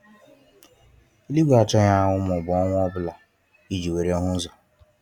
Eluigwe achọghị anwụ maọbu ọnwa ọbụla i ji were hụ ụzọ.